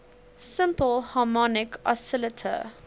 simple harmonic oscillator